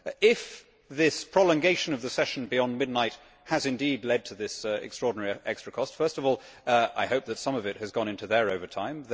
If this prolongation of the session beyond midnight has indeed led to this extraordinary extra cost, first of all I hope that some of it has gone into their overtime.